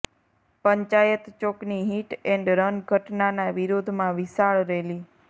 પંચાયત ચોકની hit and run ઘટનાના વિરોધમાં વિશાળ રેલી